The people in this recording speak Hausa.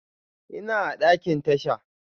Ina a ɗakin tasha.